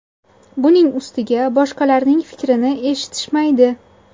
Buning ustiga boshqalarning fikrini eshitishmaydi.